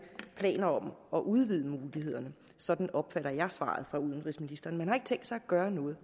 planer om at udvide mulighederne sådan opfatter jeg svaret fra udenrigsministeren man har ikke tænkt sig at gøre noget